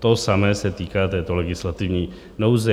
To samé se týká této legislativní nouze.